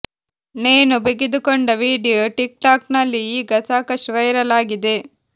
ನೇಣು ಬಿಗಿದುಕೊಂಡ video TikTok ನಲ್ಲಿ ಈಗ ಸಾಕಷ್ಟು ವೈರಲ್ ಆಗಿದೆ